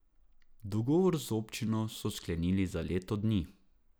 Dogovor z občino so sklenili za leto dni.